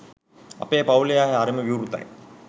අපේ පවුලේ අය හරිම විවෘතයි.